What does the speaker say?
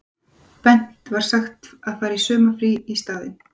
Bent var sagt að fara í sumarfrí í staðinn.